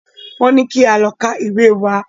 Wọ́n ní kí a lọ ka ìwé wa!